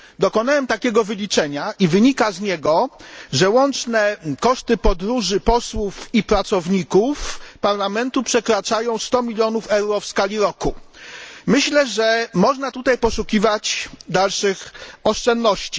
Dokonałem wyliczenia, z którego wynika, że łączne koszty podróży posłów i pracowników Parlamentu przekraczają 100 milionów euro rocznie. Myślę, że można tutaj poszukiwać dalszych oszczędności.